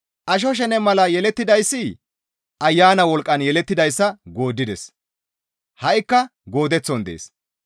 Asho shene mala yelettidayssi Ayana wolqqan yelettidayssa gooddides; ha7ikka goodeththon dees.